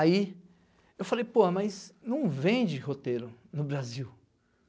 Aí, eu falei, pô, mas não vende roteiro no Brasil.